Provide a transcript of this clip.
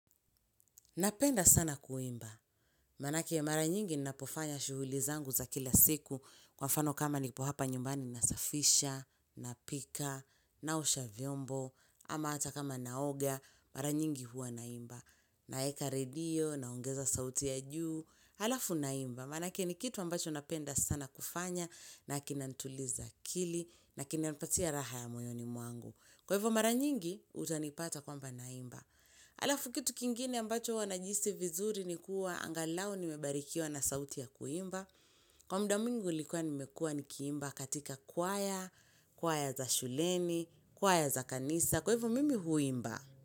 Napenda sana kuimba, manake mara nyingi ninapofanya shughuli zangu za kila siku kwa mfano kama nipo hapa nyumbani na safisha, na pika, na osha vyombo, ama hata kama na oga, mara nyingi huwa naimba. Na weka redio, naongeza sauti ya juu, halafu naimba, manake ni kitu ambacho napenda sana kufanya, na kinanituliza akili, na kinanipatia raha ya moyoni mwangu. Kwa hivo maranyingi, utanipata kwamba naimba. Halafu kitu kingine ambacho huwa najihisi vizuri ni kuwa angalau ni mebarikiwa na sauti ya kuimba. Kwa muda mwingu ulikuwa nimekuwa ni kiimba katika kwaya, kwaya za shuleni, kwaya za kanisa. Kwa hivyo mimi huimba.